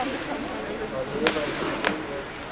Að lifa eins og blóm í eggi